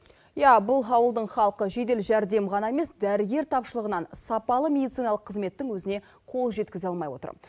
иә бұл ауылдың халқы жедел жәрдем ғана емес дәрігер тапшылығынан сапалы медициналық қызметтің өзіне қол жеткізе алмай отыр